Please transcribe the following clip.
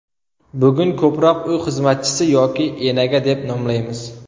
Bugun ko‘proq uy xizmatchisi yoki enaga deb nomlaymiz.